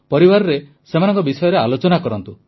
ପରିବାରରେ ସେମାନଙ୍କ ବିଷୟରେ ଆଲୋଚନା କରନ୍ତୁ